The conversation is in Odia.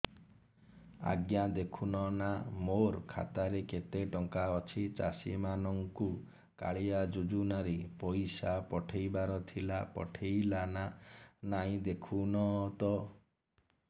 ଆଜ୍ଞା ଦେଖୁନ ନା ମୋର ଖାତାରେ କେତେ ଟଙ୍କା ଅଛି ଚାଷୀ ମାନଙ୍କୁ କାଳିଆ ଯୁଜୁନା ରେ ପଇସା ପଠେଇବାର ଥିଲା ପଠେଇଲା ନା ନାଇଁ ଦେଖୁନ ତ